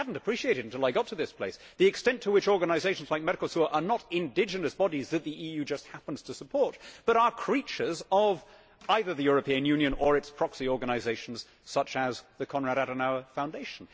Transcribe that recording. I had not appreciated until I got to this place the extent to which organisations like Mercosur are not indigenous bodies that the EU just happens to support, but are creatures of either the European Union or its proxy organisations such as the Konrad Adenauer Foundation.